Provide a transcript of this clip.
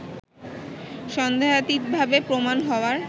সন্দেহাতীতভাবে প্রমাণ হওয়ার